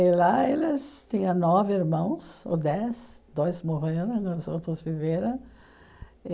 E lá eles tinham nove irmãos, ou dez, dois morram, e dois outros viveram.